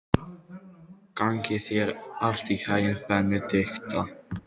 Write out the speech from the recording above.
Gangi þér allt í haginn, Benidikta.